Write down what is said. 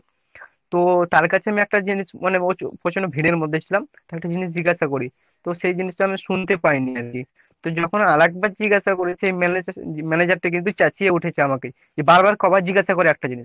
তো তার কাছে আমি একটা জিনিস মানে প্রচন্ড ভিড়ের মধ্যে ছিলাম। তো একটা জিনিস জিজ্ঞাসা করি। তো সেই জিনিসটা আমি শুনতে পাইনি আরকি তো যখন আরেকবার জিজ্ঞাসা করি সে ম্যানেজ manager টা কিন্তু চেঁচিয়ে উঠেছে আমাকে যে বারবার কয়বার জিজ্ঞাসা করবে একটা জিনিস।